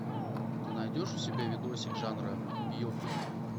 ты найдешь у себя видосик жанра биопик